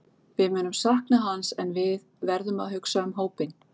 Við munum sakna hans en við verðum að hugsa um hópinn.